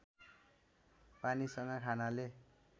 पानीसँग खानाले